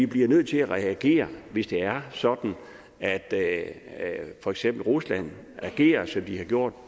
bliver nødt til at reagere hvis det er sådan at at for eksempel rusland agerer som de har gjort